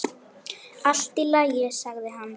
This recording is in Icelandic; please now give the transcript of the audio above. Allt í lagi, sagði hann.